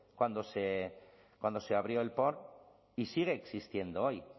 cuando se abrió el porn y sigue existiendo hoy